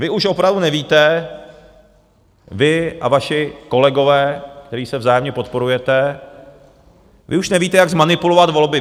Vy už opravdu nevíte, vy a vaši kolegové, kteří se vzájemně podporujete, vy už nevíte, jak zmanipulovat volby.